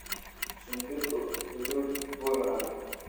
Shimbirku hadhuudh buu cunaa.